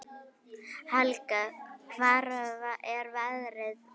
Helga: Hvar er veðrið verst?